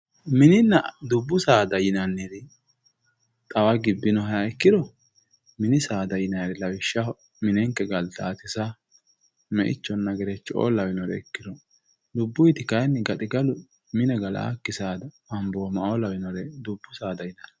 mininna dubbu saada yinanniri xawagibinoheya ikkiro mini saada yinayiri lawishshaho minenke galtaati saa, me'ichonna gerecho'oo lawinoret ikkiro dubbuiiti kaayiinni gaxigalu mine galaaki saada abooma'oo lawinore dubbu saada yinanni